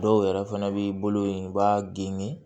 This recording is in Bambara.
Dɔw yɛrɛ fɛnɛ b'i bolo yen u b'a geni